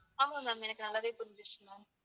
ஆமா ma'am எனக்கு நல்லாவே புரிஞ்சுச்சு ma'am